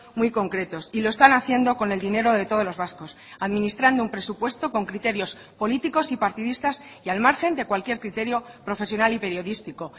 muy concretos y lo están haciendo con el dinero de todos los vascos administrando un presupuesto con criterios políticos y partidistas y al margen de cualquier criterio profesional y periodístico